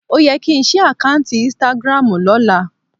Ó yẹ kí ń ṣí àkáùntì Instagram lọ́la